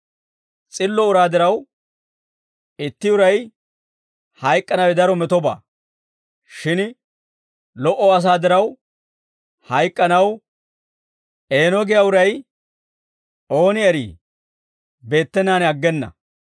S'illo uraa diraw, itti uray hayk'k'anawe daro metobaa; shin lo"o asaa diraw hayk'k'anaw, «Eeno» giyaa uray ooni eri beettenaan aggena.